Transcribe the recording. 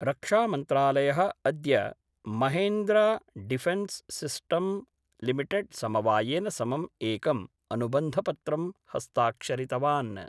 रक्षामन्त्रालय: अद्य Mahindra Defence System Limited समवायेन समं एकं अनुबन्धपत्रं हस्ताक्षरितवान्।